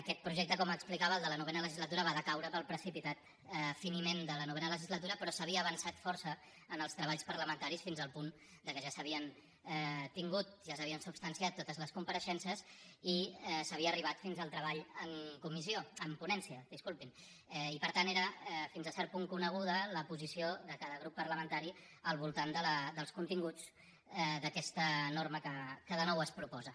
aquest projecte com explicava el de la novena legislatura va decaure pel precipitat finiment de la novena legislatura però s’havia avançat força en els treballs parlamentaris fins al punt que ja s’havien tingut ja s’havien substanciat totes les compareixences i s’havia arribat fins al treball en ponència i per tant era fins a cert punt coneguda la posició de cada grup parlamentari al voltant dels continguts d’aquesta norma que de nou es proposa